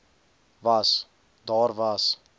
was daar was